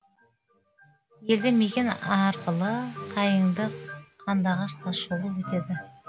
елді мекен арқылы қайыңды қандыағаш тас жолы өтеді